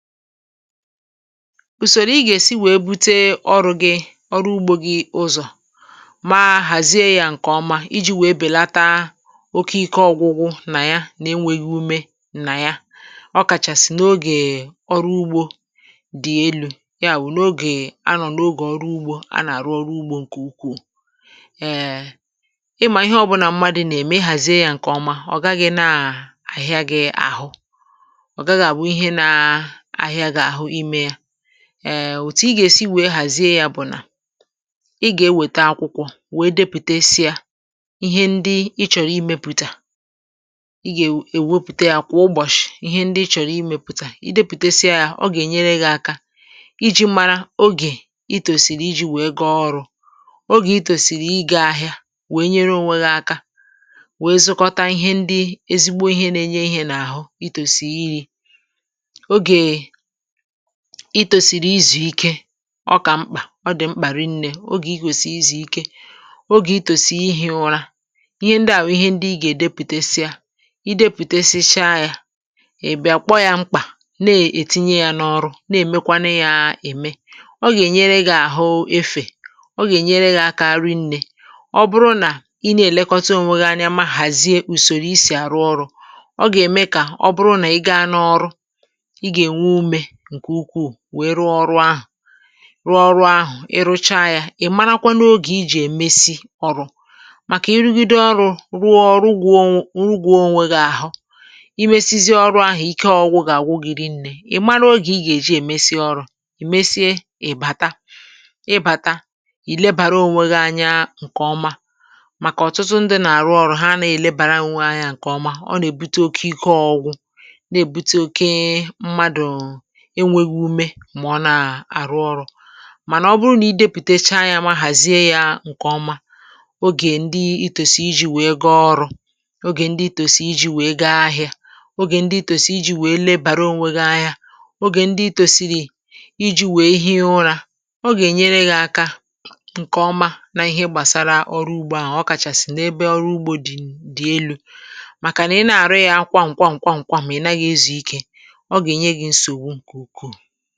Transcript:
ùsòrò ị gà-èsi wéé bute ọrụ̇ gị, ọrụ ugbò gị, ụzọ̀ mà hàzie ya ǹké ọma iji̇ wéé bèlàtáa oke ike ọ̇gụ̇gụ̇ nà ya nà enwéghị̇ ume nà ya, ọ kàchàsị̀ n’ogè ọrụ ugbò dị̀ elu̇, ya bụ̀ n’ogè a nọ̀ n’ogè ọrụ ugbò a nà-àrụ, ọrụ ugbò ǹké ukwuù um. Ị̀mà ihe ọ̇bụ̇nà mmadụ̀ nà-ème hàzie ya ǹké ọma, ọ̀ gà-aghị̇ na ahịa gị̇ ahụ, ọ gà-aghị á bụ ihe n’áhịa gị ahụ è mee. Ọtú i gà-èsi wéé hàzie yà bụ̀ nà ị gà-ewèta akwụkwọ wéé depùtesịa ihe ndị ị chọ̀rọ̀ imepụ̀tà, ị gà-èwepụ̀te yà kwa ụbọ̀chì̀ ihe ndị ị chọ̀rọ̀ imepụ̀tà i depùtesịa yà, ọ gà-ènyere yà aka iji̇ mara ogè i tòsìrì iji̇ wéé gaa-ọrụ̇. Ọ gà-ị tòsìrì i gà-ahịa wéé nyere ònwé gà-aka, wéé zụkọọ̀ta ihe ndị ezi ihe nà-enye ihe n’áhụ i tòsìrì iri̇. Ogè ị tòsìrì izùike ọ kà mkpà, ọ dì mkpà rínnē, ogè i kòsìe izùike, ogè i tòsìe ihe ụrà. Ihe ndị à bụ̀ ihe ndị ị gà-èdepùtesịa, idepùtesịa yà è bịa kpọọ ya mkpà, na ètinye yà n’ọrụ na èmekwànyé yà ème, ọ gà-ènyere gà-àhụ́ efè, ọ gà-ènyere yà akà rínnē. Ọ bụrụ nà ị nà-èlèkwàsị ònwéghị ányá mà hàzie ùsòrò ísì àrụ ọrụ̇, ọ gà-èmé kà ọ bụrụ nà ị gàa n’ọrụ è gà-enwè ume ǹké ukwuù wéé rụọ ọrụ̇ ahụ̀, rụọ ọrụ̇ ahụ̀, ị rụchaa yà. Ị̀ marakwa n’ogè iji̇ èmesi ọrụ̇ um, màkà irùgide ọrụ̇, rụọ ọrụ ugwù, ọṅụ̇, nrụgide. Ọnwéghị̇ àhụ i mesizìe ọrụ̇ ahụ̀ ike, ọ̇gwụ̇ gà-àgwụ̀gìrị ǹné. Ị̀ mara ogè ị gà-èji èmesi ọrụ̇, ì mesie ị̀bàtà ịbàtà, i lebàrà ònwéghị̇ ányá ǹké ọma. Màkà ọ̀tụtụ ndị nà-àrụ ọrụ̇ ha nà-èlèbàrà ahụ̇ anyá ǹké ọma, ọ nà-èbuté oke ike ọ̇gwụ̇, na-èbuté oke mmadụ̇ e nwéghị̇ ume, màọ̀ọ nà-àrụ ọrụ. Mànà ọ bụrụ nà i depùtechaa yà mà hàzie yà ǹké ọma, ogè ndị i tòsìrì iji̇ wéé gaa ọrụ, ogè ndị i tòsìrì iji̇ wéé gaa ahị̇ȧ, ogè ndị i tòsìrì iji̇ wéé lebàrà ònwéghì ányá, ogè ndị i tòsìrì iji̇ wéé híị̇ ụrà, ọ gà-ènyere yà aka um ǹké ọma. Na ihe gbasàrà ọrụ ugbò ahụ̀, ọ kàchàsị̀ n’ebe ọrụ ugbò dị̀, dị elu̇, màkànà ị nà-àrụ yà kwam kwam kwam, ị naghị ezu ike, ọ gà-énye gị nsogbu nke ụkwụ.